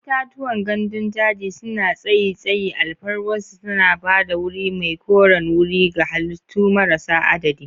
Itatuwan gandun daji suna tsayi tsayi, alfarwarsu tana ba da wuri mai koren wuri ga halittu marasa adadi.